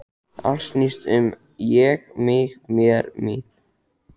Allt snýst um Ég, mig, mér, mín.